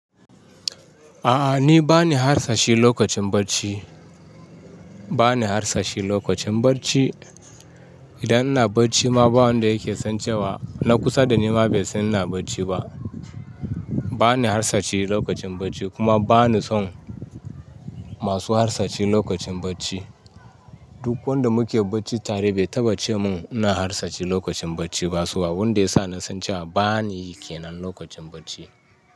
A'a ni bani harsashi lokacin bacci, bani harsashi lokacin bacci. Idan ina bacci ma ba wanda yake san cewa na kusa da ni ma bai san ina bacci ba. Bani harsashi lokacin bacci kuma ba ni son masu harsashi lokacin bacci. Duk wanda muke bacci tare bai taɓa ce mun ina harsashi lokacin bacci ba kuwa wanda ya sa na san cewa ba ni yake nan lokacin bacci.